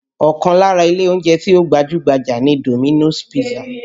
Ọkàn lára ilé oúnjẹ tí ó gbajú-gbajà ni Dominos pizza